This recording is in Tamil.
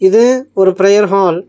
இது ஒரு பிரேயர் ஹால் .